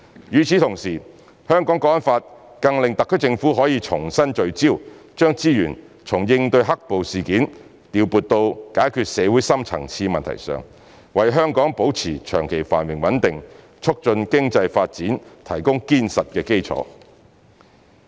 與此同時，《香港國安法》更令特區政府可以重新聚焦，將資源從應對"黑暴"事件調撥到解決社會深層次問題上，為香港保持長期繁榮穩定，促進經濟發展提供堅實的基礎。